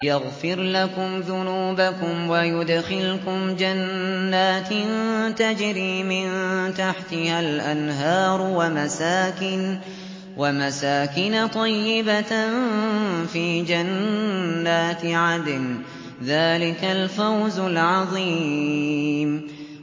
يَغْفِرْ لَكُمْ ذُنُوبَكُمْ وَيُدْخِلْكُمْ جَنَّاتٍ تَجْرِي مِن تَحْتِهَا الْأَنْهَارُ وَمَسَاكِنَ طَيِّبَةً فِي جَنَّاتِ عَدْنٍ ۚ ذَٰلِكَ الْفَوْزُ الْعَظِيمُ